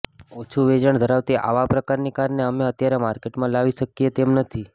ઓછું વેચાણ ધરાવતી આવા પ્રકારની કારને અમે અત્યારે માર્કેટમાં લાવી શકીએ તેમ નથી